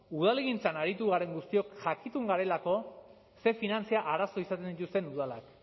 udalgintzan aritu garen guztiok jakitun garelako ze finantza arazo izaten dituzten udalak